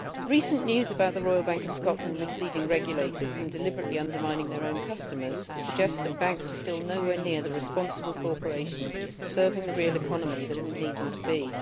Recent news about the Royal Bank of Scotland misleading regulators and deliberately undermining their own customers suggests that banks are still no way near the responsible corporations serving the real economy that we need them to be.